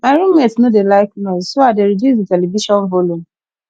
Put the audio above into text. my room mate no dey like noise so i dey reduce di television volume